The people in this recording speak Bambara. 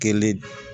Kelen